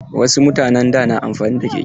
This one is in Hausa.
Wasu mutanen da na amfani da keke.